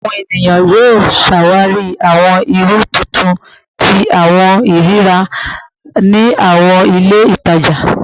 Awọn eniyan yoo ṣawari awọn iru tuntun ti awọn iriri rira ni awọn ile itaja